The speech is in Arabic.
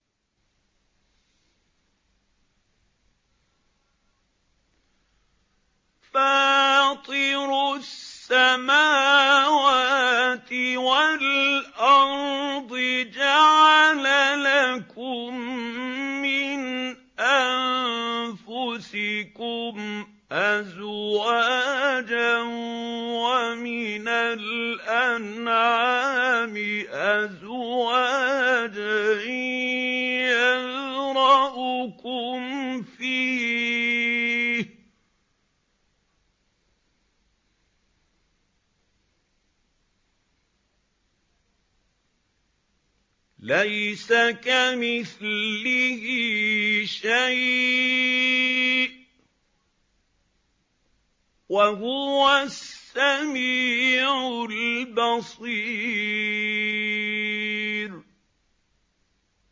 فَاطِرُ السَّمَاوَاتِ وَالْأَرْضِ ۚ جَعَلَ لَكُم مِّنْ أَنفُسِكُمْ أَزْوَاجًا وَمِنَ الْأَنْعَامِ أَزْوَاجًا ۖ يَذْرَؤُكُمْ فِيهِ ۚ لَيْسَ كَمِثْلِهِ شَيْءٌ ۖ وَهُوَ السَّمِيعُ الْبَصِيرُ